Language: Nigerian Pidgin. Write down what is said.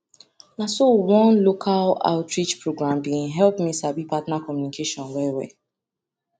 na so one local outreach program been help me sabi partner communication well well